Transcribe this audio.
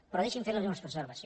però deixi’m fer li una observació